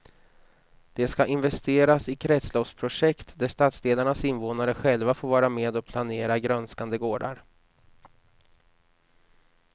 Det ska investeras i kretsloppsprojekt där stadsdelarnas invånare själva får vara med och planera grönskande gårdar.